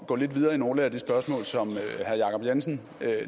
gå lidt videre i nogle af de spørgsmål som herre jacob jensen